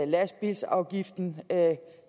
lastbilafgiften